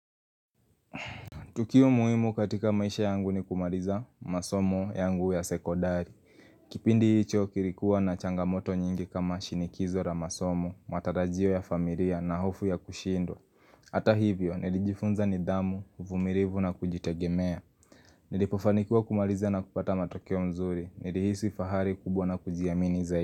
Tukio muhimu katika maisha yangu ni kumariza masomo yangu ya sekodari Kipindi hicho kilikuwa na changamoto nyingi kama shinikizo ra masomo, matarajio ya familia na hofu ya kushindwa Ata hivyo, nilijifunza ni damu, uvumirivu na kujitegemea Nilipofanikiwa kumariza na kupata matakeo nzuri, nilihisi fahari kubwa na kujiamini zaidi.